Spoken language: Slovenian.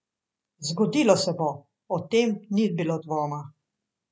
Zgodilo se bo, o tem ni bilo dvoma.